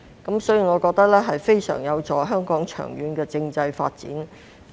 因此，我覺得此舉非常有助香港長遠的政制發展。